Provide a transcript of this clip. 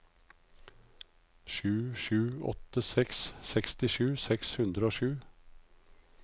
sju sju åtte seks sekstisju seks hundre og sju